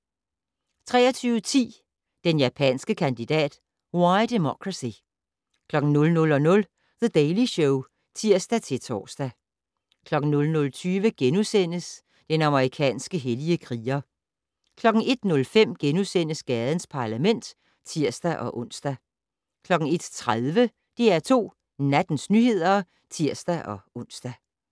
23:10: Den japanske kandidat - Why Democracy 00:00: The Daily Show (tir-tor) 00:20: Den amerikanske hellige kriger * 01:05: Gadens Parlament *(tir-ons) 01:30: DR2 Nattens nyheder (tir-ons)